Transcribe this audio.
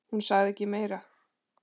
Hún sagði ekki meira.